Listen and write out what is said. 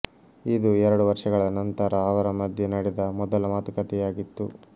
ಇದು ಎರಡು ವರ್ಷಗಳ ನಂತರ ಅವರ ಮಧ್ಯೆ ನಡೆದ ಮೊದಲ ಮಾತುಕತೆಯಾಗಿತ್ತು